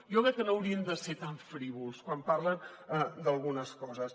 jo crec que no haurien de ser tan frívols quan parlen d’algunes coses